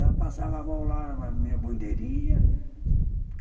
Ela passava a mão lá na minha bandeirinha.